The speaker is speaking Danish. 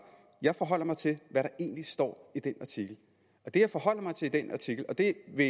jeg forholder mig til hvad der egentlig står i den artikel og det jeg forholder mig til i den artikel og det vil